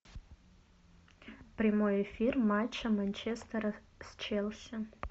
прямой эфир матча манчестера с челси